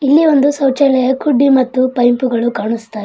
ಇಲ್ಲಿ ಒಂದು ಶೌಚಾಲಯ ಕುಡ್ಡಿ ಮತ್ತು ಪೈಪುಗಳು ಕಾಣಿಸ್ತಾ --